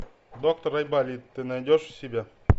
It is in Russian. доктор айболит ты найдешь у себя